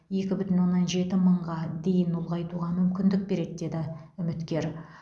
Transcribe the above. екі бүтін оннан жеті мыңға дейін ұлғайтуға мүмкіндік береді деді үміткер